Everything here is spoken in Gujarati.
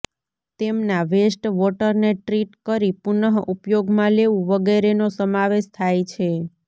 તેમના વેસ્ટ વોટરને ટ્રીટ કરી પુનઃ ઉપયોગમાં લેવું વગેરેનો સમાવેશ થાય છે